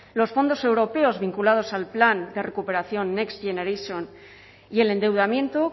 los fondos europeos vinculadas al plan de recuperación next generation y el endeudamiento